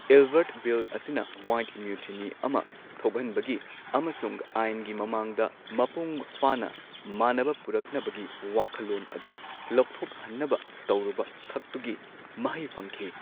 Ilbert Bill ꯑꯁꯤꯅ white ꯃ꯭ꯌꯨꯇꯤꯅꯤ ꯑꯃ ꯊꯣꯛꯍꯟꯕꯒꯤ ꯑꯃꯁꯨꯡ ꯑꯥꯏꯟꯒꯤ ꯃꯃꯥꯡꯗ ꯃꯄꯨꯡ ꯐꯥꯅ ꯃꯥꯟꯅꯕ ꯄꯨꯔꯛꯅꯕꯒꯤ ꯋꯥꯈꯜꯂꯣꯟ ꯑꯗꯨ ꯂꯧꯊꯣꯛꯍꯟꯅꯕ ꯇꯧꯔꯨꯕꯈꯛꯇꯨꯒꯤ ꯃꯍꯩ ꯐꯪꯈꯤ꯫